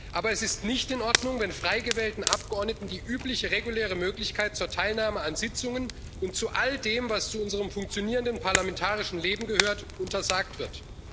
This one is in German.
Aber es ist nicht in Ordnung, wenn frei gewählten Abgeordneten die übliche reguläre Möglichkeit zur Teilnahme an Sitzungen und zu all dem, was zu unserem funktionierenden parlamentarischen Leben gehört, untersagt wird.